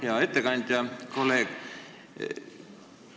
Hea ettekandja, kolleeg!